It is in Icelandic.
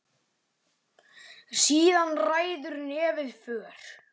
Síðan ræður nefið för.